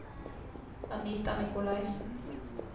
Anita Nikolaisen